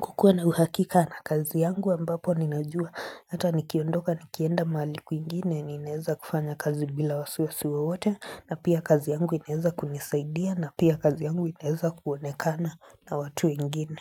kukuwa na uhakika na kazi yangu ambapo ninajua hata nikiondoka nikienda mahali kwingine ninaeza kufanya kazi bila wasiwasiwa wowote na pia kazi yangu ineza kunisaidia na pia kazi yangu inaeza kuonekana na watu wengine.